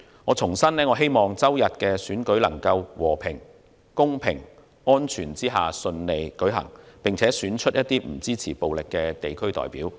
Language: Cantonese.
我重申希望星期日的選舉能夠在和平、公平、安全之下順利舉行，並選出不支持暴力的地區代表。